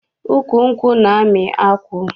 Ukwu nkwụ na-amị akwụ.